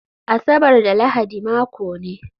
Asabar da Lahadi mako ne